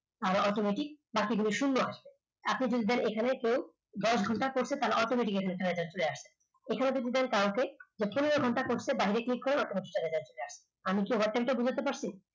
আর automatic বাকিগুলো শূন্য আছে আপনি যদি চান কেউ এখানে দশঘন্টা করছেন তাহলে automatically system চলে আসবে যদি দেন পনেরো ঘণ্টা করছে তাহলে বাইরে click করেন আমি কি overtime টা বোঝাতে পারছি